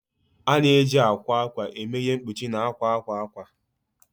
A na-eji akwa akwa eme ihe mkpuchi na akwa akwa akwa.